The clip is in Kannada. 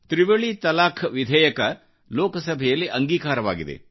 ತ್ರಿವಳಿ ತಲಾಖ್ ವಿಧೇಯಕವು ಲೋಕಸಭೆಯಲ್ಲಿಅಂಗೀಕಾರವಾಗಿದೆ